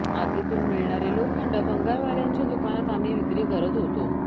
आगीतून मिळणारे लोखंड भंगारवाल्यांच्या दुकानात आम्ही विक्री करत होतो